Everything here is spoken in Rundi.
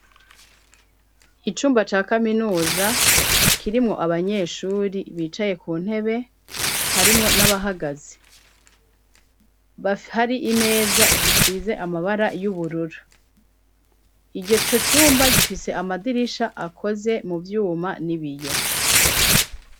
Icumba ca kaminuza kirimwo abanyeshuri bicaye ku ntebe harimwo n'abahagaze, hafi hari imeza zisize amabara y'ubururu iyo co cumba gifise amadirisha akoze mu vyuma n'ibiyo